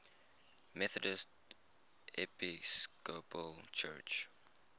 methodist episcopal church